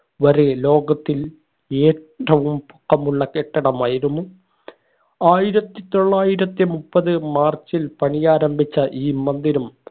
വരെ ലോകത്തിൽ ഏറ്റവും പൊക്കമുള്ള കെട്ടിടമായിരുന്നു ആയിരത്തി തൊള്ളായിരത്തി മുപ്പത് മാർച്ചിൽ പണിയാരംഭിച്ച ഈ മന്ദിരം